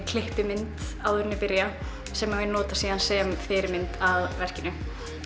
klippimynd áður en ég byrja sem ég nota síðan sem fyrirmynd að verkinu